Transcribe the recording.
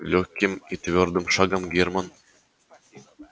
лёгким и твёрдым шагом германн